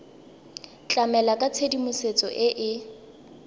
tlamela ka tshedimosetso e e